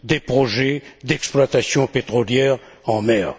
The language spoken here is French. projets d'exploitation pétrolière en mer.